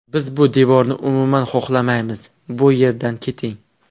Biz bu devorni umuman xohlamaymiz, bu yerdan keting”.